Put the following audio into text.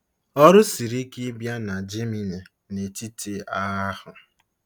Ọrụ siri ike ịbịa na Jemini n'etiti agha ahụ.